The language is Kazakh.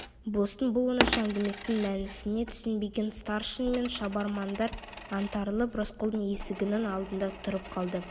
болыстың бұл оңаша әңгімесінің мәнісіне түсінбеген старшын мен шабармандар аңтарылып рысқұлдың есігінің алдында тұрып қалды